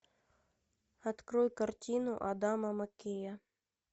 открой картину адама маккея